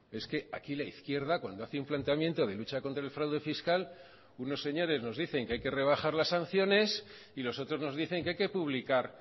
es que aquí la izquierda cuando hace un planteamiento de lucha contra el fraude fiscal unos señores nos dicen que hay que rebajar las sanciones y los otros nos dicen que hay que publicar